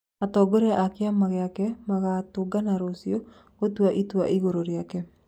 Atongoria a kĩama gĩake magatũngana rũcio gũtua itũa igũru rĩake